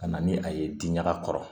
Ka na ni a ye diɲaga kɔrɔ